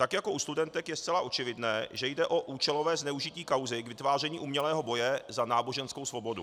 Tak jako u studentek je zcela očividné, že jde o účelové zneužití kauzy k vytváření umělého boje za náboženskou svobodu.